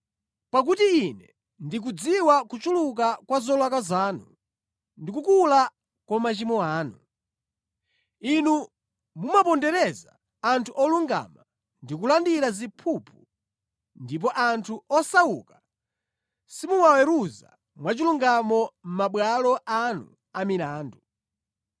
Pakuti Ine ndikudziwa kuchuluka kwa zolakwa zanu ndi kukula kwa machimo anu. Inu mumapondereza anthu olungama ndi kulandira ziphuphu ndipo anthu osauka simuwaweruza mwachilungamo mʼmabwalo anu amilandu.